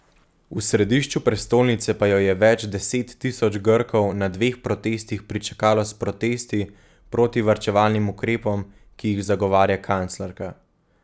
V središču prestolnice pa jo je več deset tisoč Grkov na dveh protestih pričakalo s protesti proti varčevalnim ukrepom, ki jih zagovarja kanclerka.